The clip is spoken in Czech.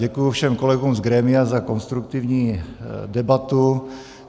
Děkuji všem kolegům z grémia za konstruktivní debatu.